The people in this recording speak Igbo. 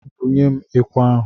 Bunyem ekwe ahụ!